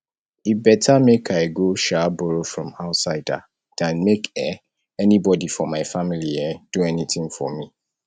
e beta make i go um borrow from outsider than make um anybody for my family um do anything for me